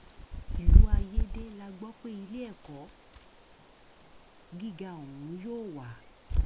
ìlú ayédè la gbọ pé iléẹkọ gíga ọhún yóò wà